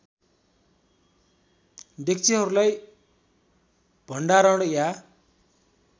डेक्चिहरूलाई भण्डारण या